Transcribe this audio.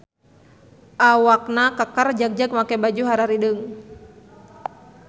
Awakna keker jagjag make baju hararideung.